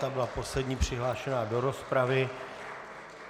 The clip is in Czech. Ta byla poslední přihlášená do rozpravy.